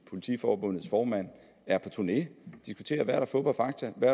politiforbundets formand er på turné og der er fup og fakta hvad